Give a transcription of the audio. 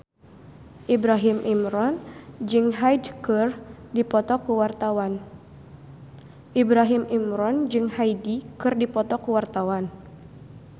Ibrahim Imran jeung Hyde keur dipoto ku wartawan